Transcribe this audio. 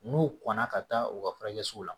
N'u kɔnna ka taa u ka furakɛsɛw la